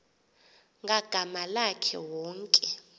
ngagama lakhe wonke